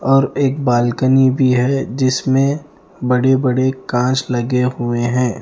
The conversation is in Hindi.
और एक बालकनी भी है जिसमें बड़े-बड़े काँच लगे हुए हैं ।